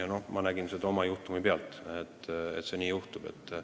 Ja ma näen seda oma juhtumi pealt, et see nii võib minna.